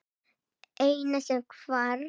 Eina sem hvarf.